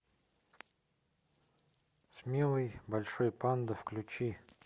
смелый большой панда включи